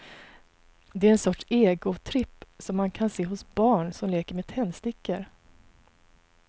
Det är en sorts egotripp som man kan se hos barn som leker med tändstickor.